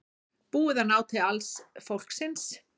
Búið að ná til alls fólksins